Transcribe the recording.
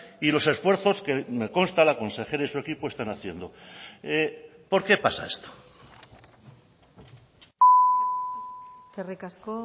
y los esfuerzos que me consta la consejera y su equipo están haciendo por qué pasa esto eskerrik asko